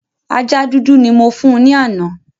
Ajá dúdú ni mo fún ní àná